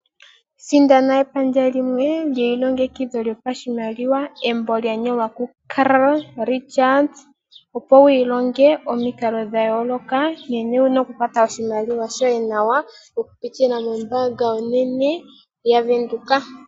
Sindana epandja limwe dji ilongekidhwa djopa shimaliwa. Embo dja nyolwa ku Carl Richards, opo wu ilonge omikalo dha yooloka nkene wuna oku kwata oshimaliwa shoye nawa oku pitila mo mbaanga onene ya Venduka.